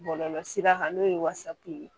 Bɔlɔlɔsira kan n'o ye wasapu ye